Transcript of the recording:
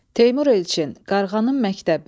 Teymur Elçin, Qarğanın məktəbi.